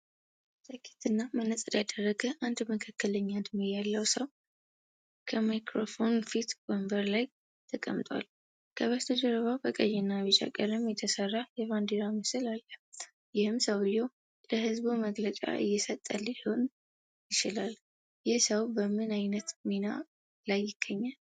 ጃኬትና መነጽር ያደረገ አንድ መካከለኛ እድሜ ያለው ሰው ከማይክራፎኖች ፊት ወንበር ላይ ተቀምጧል። ከበስተጀርባው በቀይና ቢጫ ቀለም የተሰራ የባንዲራ ምስል አለ፤ ይህም ሰውዬው ለሕዝብ መግለጫ እየሰጠ ሊሆን ይችላል፤ ይህ ሰው በምን ዓይነት ሚና ላይ ይገኛል?